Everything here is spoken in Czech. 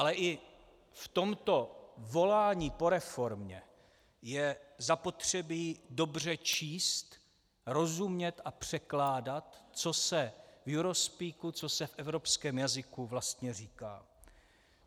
Ale i v tomto volání po reformě je zapotřebí dobře číst, rozumět a překládat, co se v eurospeaku, co se v evropském jazyku vlastně říká.